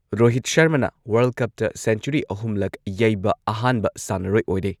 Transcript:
ꯔꯣꯍꯤꯠ ꯁꯔꯃꯅ world cup century ꯑꯍꯨꯝꯂꯛ ꯌꯩꯕ ꯑꯍꯥꯟꯕ ꯁꯥꯟꯅꯔꯣꯏ ꯑꯣꯏꯔꯦ꯫